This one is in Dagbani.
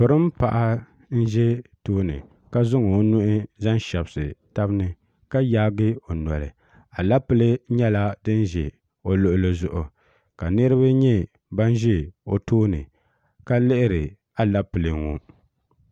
pirin paɣa n ʒɛ tooni ka zaŋ o nuhi zaŋ shɛbisi tabi ni ka yaagi o noli alɛpilɛ nyɛla din ʒɛ o luɣuli zuɣu ka niraba nyɛ ban ʒɛ o tooni ka lihiri alɛpilɛ ŋo